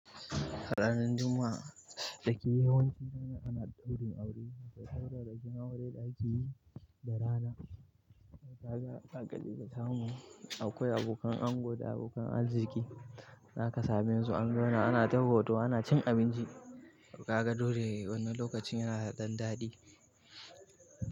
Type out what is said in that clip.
Ranan Juma'a da ke yawanci ranan ana ɗaurin aure. Da saurarrakin aure da akeyi, da rana. Kaga zaka je ka samu, akwai abokan ango da abokan arziki. Zaka same su an zauna ana ta hoto ana cin abinci. Kaga dole wannan lokacin yana da ɗan daɗi.